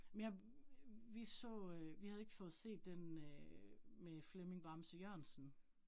Men jeg vi så øh, vi havde ikke fået set den øh med Flemming Bamse Jørgensen